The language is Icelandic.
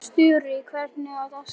Sturri, hvernig er dagskráin?